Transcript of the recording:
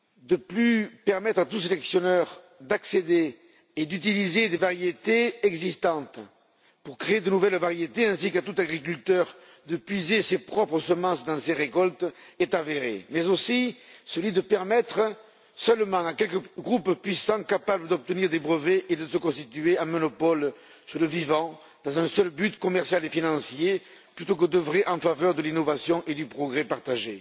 ne plus permettre à tout sélectionneur d'accéder à des variétés existantes et de les utiliser pour créer de nouvelles variétés, ainsi qu'à tout agriculteur de puiser ses propres semences dans ses récoltes, est avéré, mais aussi celui de permettre seulement à quelques groupes puissants, capables d'obtenir des brevets, de se constituer un monopole sur le vivant dans un seul but commercial et financier, plutôt que d'œuvrer en faveur de l'innovation et du progrès partagé.